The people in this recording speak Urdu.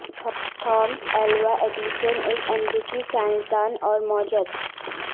تھامس ایلوا ایڈیسن ایک امریکی سائنس دان اور موجد